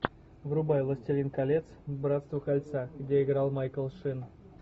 врубай властелин колец братство кольца где играл майкл шин